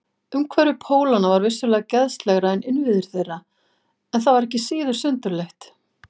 Umhverfi Pólanna var vissulega geðslegra en innviðir þeirra, en það var ekki síður sundurleitt.